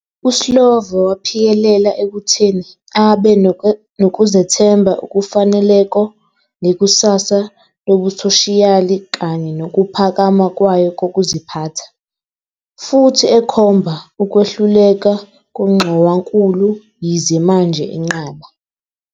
USlovo waphikelela ekutheni "abe nokuzethemba okufaneleko ngekusasa lobusoshiyali kanye nokuphakama kwayo kokuziphatha", futhi ekhomba "ukwehluleka kongxowankulu", yize manje enqaba